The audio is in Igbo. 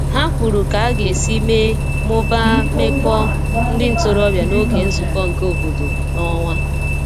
Ha kwuru ka aga esi mee/mụbaa meko ndi ntorobia n'oge nzuko nke obodo n'onwa